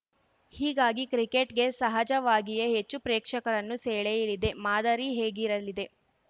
ಹೀಗಾಗಿ ಕ್ರಿಕೆಟ್‌ಗೆ ಸಹಜವಾಗಿಯೇ ಹೆಚ್ಚು ಪ್ರೇಕ್ಷಕರನ್ನು ಸೆಳೆಯಲಿದೆ ಮಾದರಿ ಹೇಗಿರಲಿದೆ